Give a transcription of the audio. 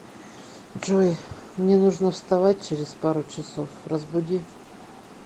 джой мне нужно вставать через пару часов разбуди